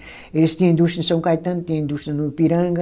Eles tinha indústria em São Caetano, tinham indústria no Ipiranga.